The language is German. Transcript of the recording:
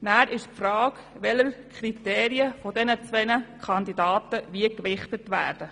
Es stellt sich daher die Frage, welche Kriterien bei diesen beiden Kandidaten stärker gewichtet werden;